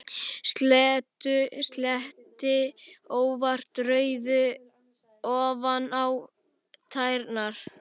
Sletti óvart rauðu ofan á tærnar.